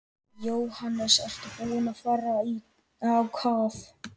Jóhannes: Ertu búinn að fara á kaf?